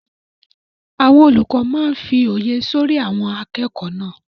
Àwọn olùkọ́ máa n fí òye sọ́rí àwọn akẹ́kọ̀ọ́ náà